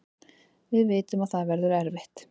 Við vitum að það verður erfitt